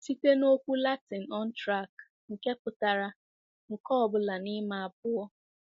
Site na okwu Latịn utraque, nke pụtara "nke ọ bụla n'ime abụọ."